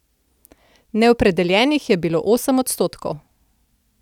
Neopredeljenih je bilo osem odstotkov.